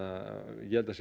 ég held að það